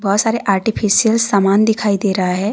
बहुत सारे आर्टिफिशियल समान दिखाई दे रहा है।